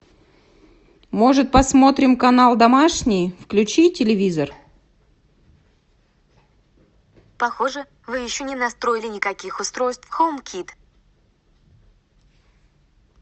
может посмотрим канал домашний включи телевизор